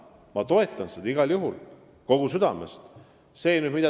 Ma toetan seda igal juhul, kogu südamest.